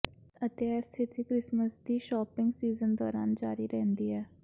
ਅਤੇ ਇਹ ਸਥਿਤੀ ਕ੍ਰਿਸਮਸ ਦੀ ਸ਼ਾਪਿੰਗ ਸੀਜ਼ਨ ਦੌਰਾਨ ਜਾਰੀ ਰਹਿੰਦੀ ਹੈ